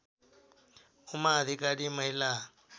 उमा अधिकारी महिला